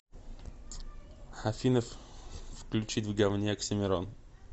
афина включить в говне оксимирон